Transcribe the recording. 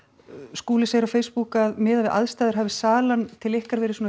Skúli segir á Facebook að miðað við aðstæður hafi salan til ykkar verið